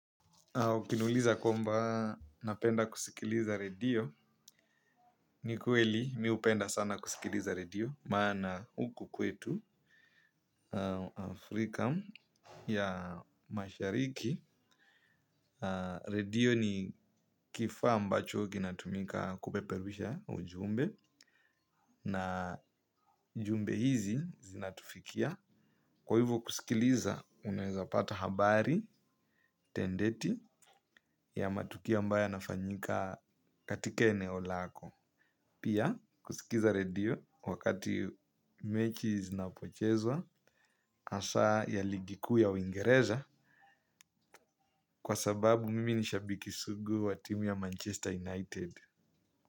Ukiniuliza kwamba napenda kusikiliza redio, ni kweli mi napenda kusikiliza redio maana huku kwetu Afrika ya Mashariki. Redio ni kifaa ambacho kina tumika kupeperusha ujumbe na jumbe hizi zinatufikia. Kwa hivyo kusikiliza unaweza pata habari tendeti ya matukio ambayo yanafanyika katika eneo lako. Pia kusikiza redio wakati mechi zinapochezwa hasa ya ligi kuu ya uingereza kwa sababu mimi ni shabiki sugu wa timu ya Manchester United.